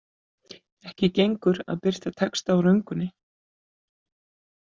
Ekki gengur að birta texta á röngunni.